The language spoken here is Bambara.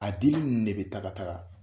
A dili ninnu de bɛ taa ka taga